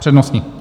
Přednostní.